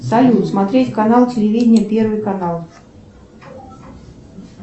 салют смотреть канал телевидения первый канал